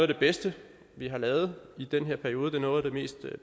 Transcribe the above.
det bedste vi har lavet i den her periode det er noget af det mest